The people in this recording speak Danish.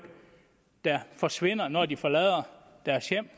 der forsvinder når de forlader deres hjem